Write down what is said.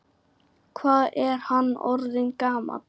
Hvað er hann orðinn gamall?